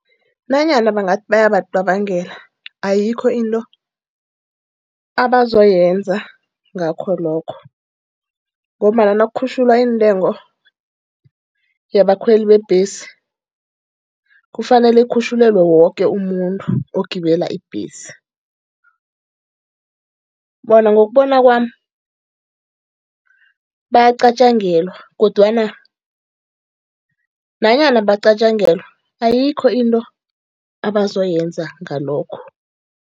Nanyana bangathi bayabacabangela, ayikho into abazokwenza ngakho lokho. Ngombana nakukhutjhulwa intengo yabakhweli beembhesi, kufanele kukhutjhulelwe woke umuntu okwela ibhesi. Bona ngokubona kwami bayacatjangelwa, kodwana nanyana bacatjangelwa ayikho into abazoyenza ngalokho.